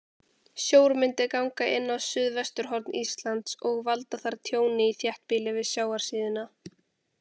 Sjór myndi ganga inn á suðvesturhorn Íslands og valda þar tjóni í þéttbýli við sjávarsíðuna.